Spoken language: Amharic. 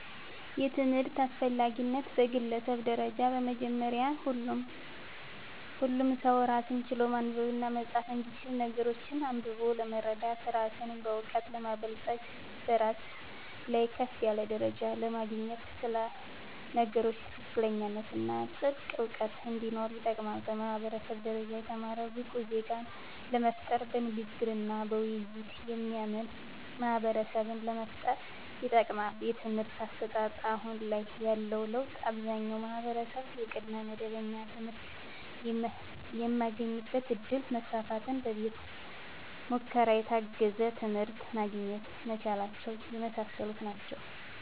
የትምህርት አስፈላጊነት በግለሰብ ደረጃ በመጀመሪያ ሁሉም ሰው ራስን ችሎ ማንበብና መፃፍ እንዲችል ነገሮችን አንብቦ ለመረዳት ራስን በእውቀት ለማበልፀግ በስራ ላይ ከፍ ያለ ደረጃ ለማግኘት ስለ ነገሮች ትክክለኛነትና ጥልቅ እውቀት እንዲኖር ይጠቅማል። በማህበረሰብ ደረጃ የተማረ ብቁ ዜጋን ለመፍጠር በንግግርና በውይይት የሚያምን ማህበረሰብን ለመፍጠር ይጠቅማል። የትምህርት አሰጣጥ አሁን ላይ ያለው ለውጥ አብዛኛው ማህበረሰብ የቅድመ መደበኛ ትምህርት የማግኘት እድል መስፋፋትና በቤተ ሙከራ የታገዘ ትምህርት ማግኘት መቻላቸው የመሳሰሉት ናቸው።